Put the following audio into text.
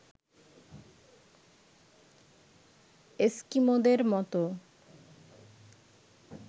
এস্কিমোদের মতো